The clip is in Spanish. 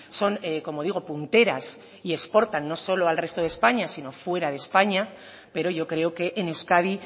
son como digo punteras y exportan no solo al resto de españa sino fuera de españa pero yo creo que en euskadi